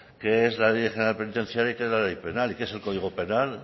qué es la ley general penitenciaria y qué es la ley penal y que es el código penal